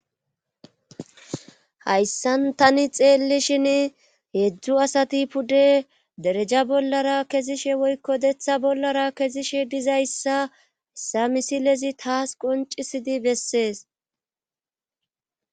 Hayssan tani xeellishin heedzdzu asati pude dereja bollara kezishe woykko deththa bollara kezishe dizayssa essa misilezi taas qoncisidi bessees.